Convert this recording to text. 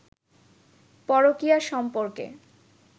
পরকীয়া সম্পর্কে